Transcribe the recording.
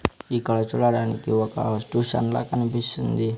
ఇక్కడ చూడడానికి ఒక టూషన్ లా కనిపిస్తుంది.